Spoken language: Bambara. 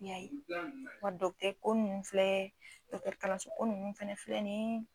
Nka ko nunnu filɛ, dɔkɔtɔsokalanso nunnu fana ni ye